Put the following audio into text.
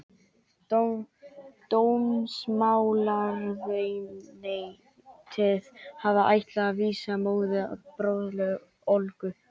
Dómsmálaráðuneytið hafði ætlað að vísa móður og bróður Olgu